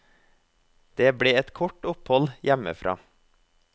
Det ble et kort opphold hjemmefra.